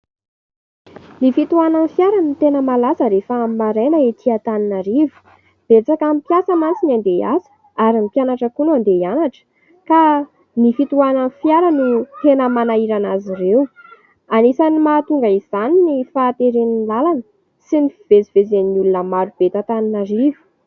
Ny fitohanan'ny fiara no tena malaza rehefa amin'ny maraina ety Antananarivo. Betsaka amin'ny mpiasa mantsy ny andeha iasa ary ny mpianatra koa no andeha ianatra. Ka ny fitohanan'ny fiara no tena manahirana azy ireo. Anisany mahatonga izany ny fahateren'ny lalana sy ny fivezivezen'ny olona maro be eto Antananarivo.